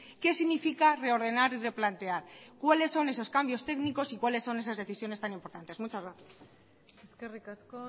qué significa reordenar y replantear cuáles son esos cambios técnicos y cuáles son esas decisiones tan importantes muchas gracias eskerrik asko